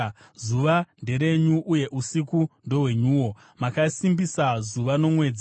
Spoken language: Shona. Zuva nderenyu, uye usiku ndohwenyuwo; makasimbisa zuva nomwedzi.